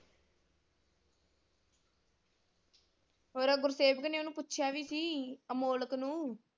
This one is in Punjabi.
ਹੋਰ ਉਹ ਗੁਰਸੇਵਕ ਨੇ ਓਹਨੂੰ ਪੁੱਛਿਆ ਵੀ ਸੀ ਅਮੋਲਕ ਨੂੰ।